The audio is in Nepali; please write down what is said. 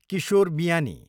किशोर बियानी